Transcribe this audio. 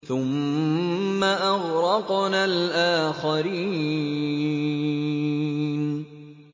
ثُمَّ أَغْرَقْنَا الْآخَرِينَ